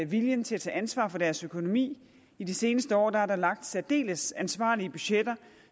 viljen til at tage ansvar for deres økonomi i de seneste år er der lagt særdeles ansvarlige budgetter